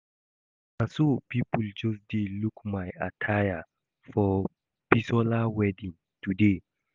Na so people just dey look my attire for Bisola wedding today